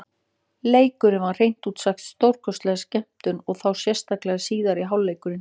Leikurinn var hreint út sagt stórkostleg skemmtun, og þá sérstaklega síðari hálfleikurinn.